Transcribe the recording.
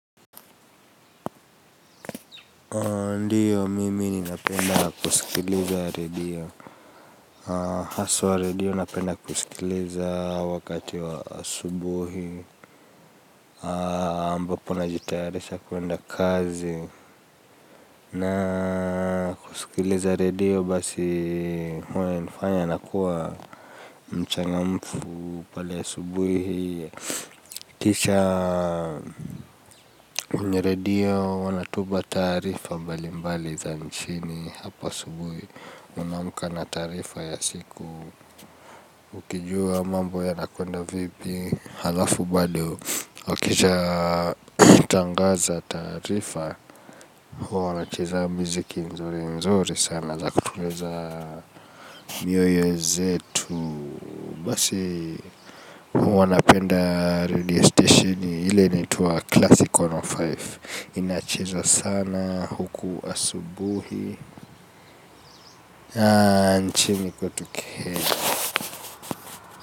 Ndio, mimi ninapenda kusikiliza radio, haswa radio napenda kusikiliza wakati wa asubuhi, ambapo najitayarisha kuenda kazi, na kusikiliza radio basi huwa inanifanya nakuwa mchangamfu pale asubuhi. Kisha kwenye radio wanatupa taarifa mbalimbali za nchini hapa asubuhi. Unaamka na taarifa ya siku. Ukijua mambo yanakwenda vipi halafu bado ukishatangaza taarifa huwa wanacheza miziki nzuri nzuri sana za kutuliza mioyo zetu. Basi huwa napenda radio station ile inaitwa Classic mia moja na tano. Inacheza sana huku asubuhi. Nchini kwetu Kenya.